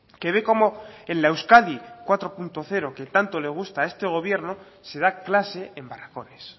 que ve como en la euskadi cuatro punto cero que tanto le gusta a este gobierno se da clase en barracones